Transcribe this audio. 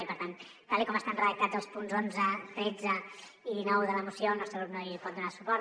i per tant tal com estan redactats els punts onze tretze i dinou de la moció el nostre grup no hi pot donar suport